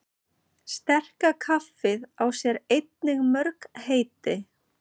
Sterka kaffið á sér einnig mörg heiti.